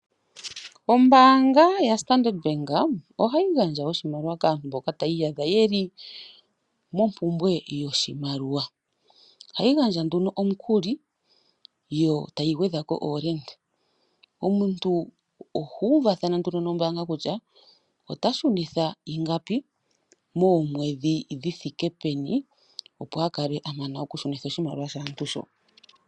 Ombaanga yaStandard Bank ohayi gandja oshimaliwa kaantu mboka taya iyadha yeli mompumbwe yoshimaliwa. Ohayi nduno omukuli yotayi gwedhako iishoshela. Omuntu oha uvathana nduno nombaanga kutya ota shunitha ingapi, moomwedhi dhithike peni, opo akale amana okushunitha oshimaliwa shaantu sho.